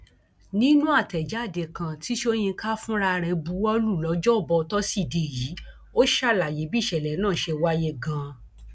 nínú àtẹjáde kan tí sọyìnkà fúnra rẹ buwọ lu lọjọbọ tosidee yìí ó ṣàlàyé bí ìṣẹlẹ náà ṣe wáyé ganan